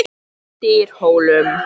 Dyrhólum